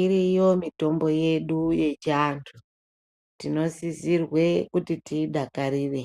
Iriyo mitombo yedu yechiantu. Tinosisirwe kuti tiidakarire